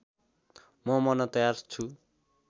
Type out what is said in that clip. म मर्न तयार छु